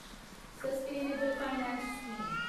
sustainable finance scheme